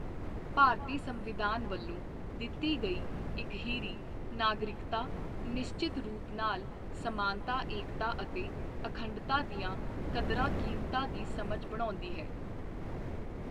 ਭਾਰਤੀ ਸੰਵਿਧਾਨ ਵੱਲੋਂ ਦਿੱਤੀ ਗਈ ਇਕਹਿਰੀ ਨਾਗਰਿਕਤਾ ਨਿਸ਼ਚਤ ਰੂਪ ਨਾਲ ਸਮਾਨਤਾ ਏਕਤਾ ਅਤੇ ਅਖੰਡਤਾ ਦੀਆਂ ਕਦਰਾਂ ਕੀਮਤਾਂ ਦੀ ਸਮਝ ਬਣਾਉਂਦੀ ਹੈ।